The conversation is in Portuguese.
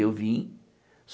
Eu vim.